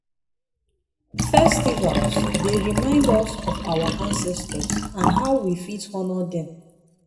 festivals dey remind us of our ancestors and how we fit honor dem.